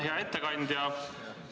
Hea ettekandja!